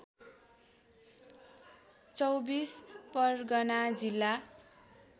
२४ परगना जिल्ला